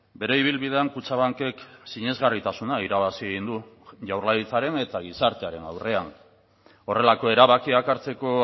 bere ibilbidean kutxabankek sinesgarritasuna irabazi egin du jaurlaritzaren eta gizartearen aurrean horrelako erabakiak hartzeko